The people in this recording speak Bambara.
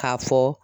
K'a fɔ